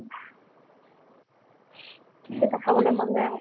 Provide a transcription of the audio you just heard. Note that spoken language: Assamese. তেতিয়া খাবলে মন যায় আকৌ